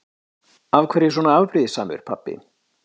Af hverju svona afbrýðissamur pabbi?